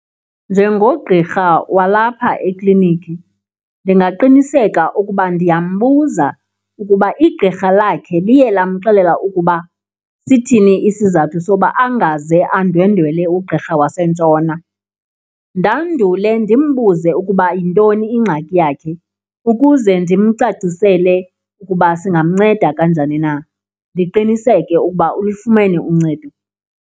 Njengogqirha walapha ekliniki ndingaqiniseka ukuba ndiyambuza ukuba igqirha lakhe liye lamxelela ukuba sithini isizathu soba angaze andwendwele ugqirha wasentshona. Ndandule ndimbuze ukuba yintoni ingxaki yakhe ukuze ndimcacisele ukuba singamnceda kanjani na. Ndiqiniseke ukuba ulufumene uncedo.